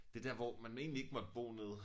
Det dér hvor man egentlig ikke måtte bo nede